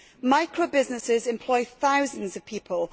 Micro businesses employ thousands of people.